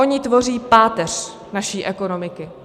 Oni tvoří páteř naší ekonomiky.